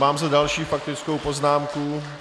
Mám zde další faktickou poznámku.